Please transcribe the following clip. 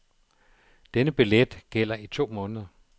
Denne billet gælder i to måneder.